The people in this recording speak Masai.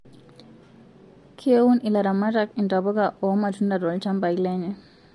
Keun ilaramatak intapuka oo matunda toolchambai lenye